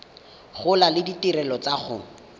gola le ditirelo tsa go